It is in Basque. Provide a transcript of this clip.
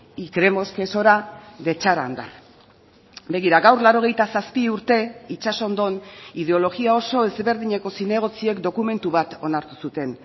y creemos que es hora de echar a andar begira gaur laurogeita zazpi urte itsasondon ideologia oso ezberdineko zinegotziek dokumentu bat onartu zuten